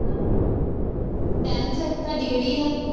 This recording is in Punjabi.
tenth ਤੁਹਾਡੀ ਕਿਹੜੀ ਆ